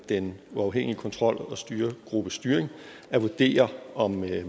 den uafhængige kontrol og styregruppes styring at vurdere om